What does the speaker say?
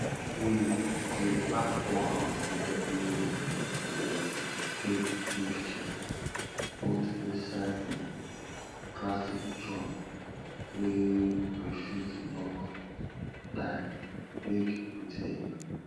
we dey pack all our food wey we dey take give chicken put inside plastic drum wey we fit lock tigh make nothing enter am